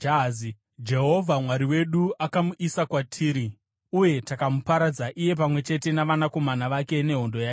Jehovha Mwari wedu akamuisa kwatiri uye takamuparadza, iye pamwe chete navanakomana vake nehondo yake yose.